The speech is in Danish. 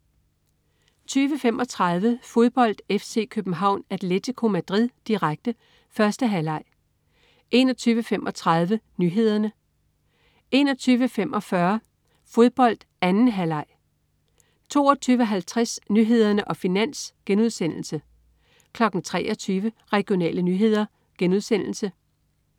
20.35 Fodbold: F.C. København-Atlético Madrid, direkte. 1. halvleg 21.35 Nyhederne 21.45 Fodbold: F.C. København-Atlético Madrid, direkte. 2. halvleg 22.50 Nyhederne og Finans* 23.00 Regionale nyheder*